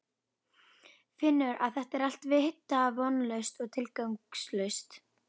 Finnur að þetta er allt vita vonlaust og tilgangslaust.